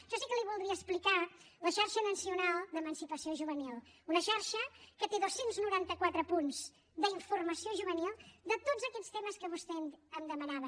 jo sí que li voldria explicar la xarxa nacional d’emancipació juvenil una xarxa que té dos cents i noranta quatre punts d’informació juvenil de tots aquests temes que vostè em demanava